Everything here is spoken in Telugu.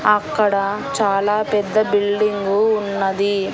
అక్కడ చాలా పెద్ద బిల్డింగు ఉన్నది.